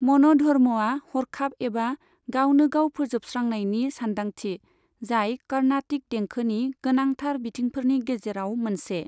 मन'धर्मआ हरखाब एबा गावनो गाव फोसाबस्रांनायनि सानदांथि, जाय कार्नाटिक देंखोनि गोनांथार बिथिंफोरनि गेजेराव मोनसे।